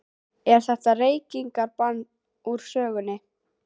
Er þetta reykingabann úr sögunni?